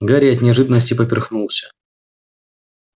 гарри от неожиданности поперхнулся